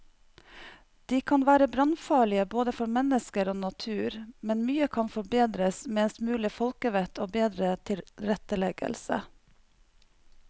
De kan være brannfarlige både for mennesker og natur, men mye kan forbedres med en smule folkevett og bedre tilretteleggelse.